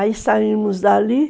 Aí saímos dali.